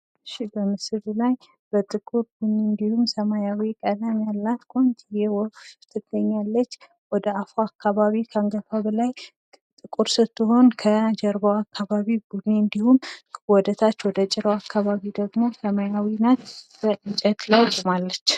እሽ በምስሉ ላይ በጥቁር እንዲሁም ሰማያዊ ቀለም ያላት ቆንጂዬ ወፍ ትገኛለች ወደ አፏ አካባቢ ጥቁር ስትሆነ የጀርባዋ አካባቢ ቡኒ እንዲሁም ወደ ታች ወደ ጭራዋ አካባቢ ደግሞ ሰማያዊ ነች። በእንጨት ላይ ቁማለች።